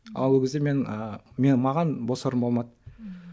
ал ол кезде мен ы мен маған бос орын болмады ммм